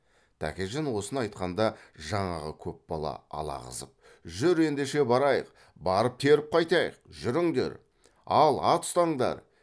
тәкежан осыны айтқанда жаңағы көп бала алағызып жүр ендеше барайық барып теріп қайтайық жүріңдер ал ат ұстаңдар